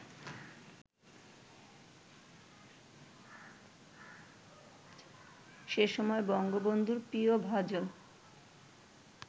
সেসময় বঙ্গবন্ধুর প্রিয়ভাজন